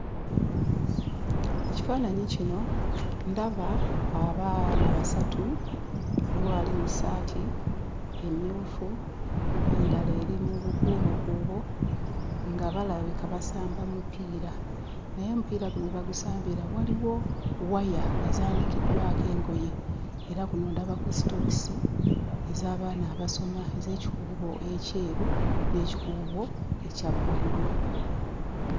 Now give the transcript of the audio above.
Ekifaananyi kino ndaba abaana abasatu. Waliwo ali mu ssaati emmyufu, endala eri mu bukuubokuubo, nga balabika basamba mupiira naye omupiira guno we bagusambira waliwo waya ezaanikiddwako engoye era kuno ndabako sitookisi ez'abaana abasoma, ez'ekikuubo ekyeru n'ekikuubo ekya bbululu.